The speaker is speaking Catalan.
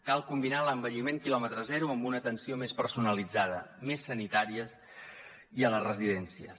cal combinar l’envelliment quilòmetre zero amb una atenció més personalitzada més sanitària i a les residències